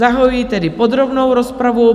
Zahajuji tedy podrobnou rozpravu.